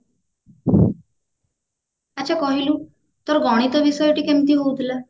ଆଚ୍ଛା କହିଲୁ ତୋର ଗଣିତ ବିଷୟଟି କେମିତି ହଉଥିଲା